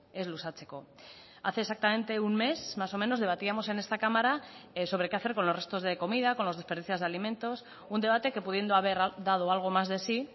ez luzatzeko hace exactamente un mes más o menos debatíamos en esta cámara sobre qué hacer con los restos de comida con los desperdicios de alimentos un debate que pudiendo haber dado algo más de si